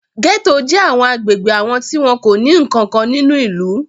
Gẹ́tò jẹ́ àwọn agbègbè àwọn tí wọn kò ní nǹkan kan nínú ìlú.